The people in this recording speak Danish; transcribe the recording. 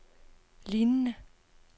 lignende